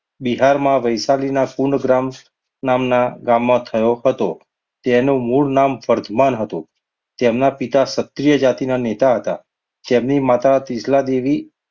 બિહારમાં વૈશાલીના કુંડ ગ્રામ નામના ગામના થયો હતો. તેનું મૂળ નામ વર્ધમાન હતું. તેમના પિતા ક્ષત્રિય જાતિના નેતા હતા જેમની માતા તીર્થલાદેવી,